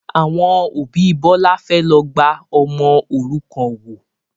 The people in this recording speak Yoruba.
Àwọn òbí Bọlá fẹ́ lọ gba ọmọ òrukàn wò